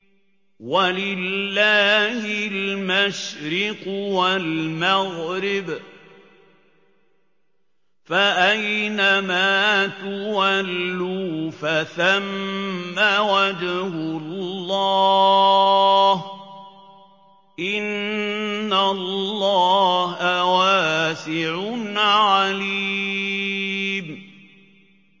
وَلِلَّهِ الْمَشْرِقُ وَالْمَغْرِبُ ۚ فَأَيْنَمَا تُوَلُّوا فَثَمَّ وَجْهُ اللَّهِ ۚ إِنَّ اللَّهَ وَاسِعٌ عَلِيمٌ